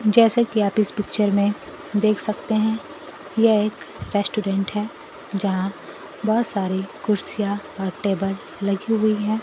जैसे कि आप इस पिक्चर में देख सकते हैं यह एक रेस्टोरेंट है यहां बहुत सारी कुर्सियां और टेबल लगी हुई है।